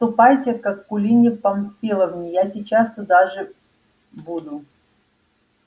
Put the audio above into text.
ступайте к акулине памфиловне я сейчас туда же буду